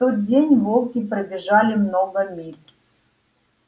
в тот день волки пробежали много миль